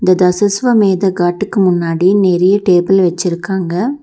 இத சிஸ்வமேதா காட்டுக்கு முன்னாடி நெறைய டேபிள வெச்சிருக்காங்க.